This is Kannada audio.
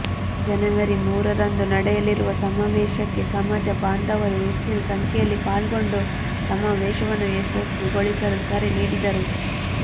ಜನೇವರಿ ಮೂರರಂದು ನಡೆಯಲಿರುವ ಸಮಾವೇಶಕ್ಕೆ ಸಮಾಜ ಬಾಂಧವರು ಹೆಚ್ಚಿನ ಸಂಖ್ಯೆಯಲ್ಲಿ ಪಾಲ್ಗೊಂಡು ಸಮಾವೇಶವನ್ನು ಯಶಸ್ವಿಗೊಳಿಸಲು ಕರೆ ನೀಡಿದರು